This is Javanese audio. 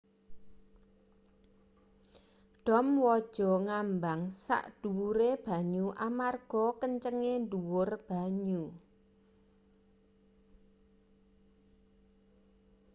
dom waja ngambang sak dhuwure banyu amarga kencenge dhuwur banyu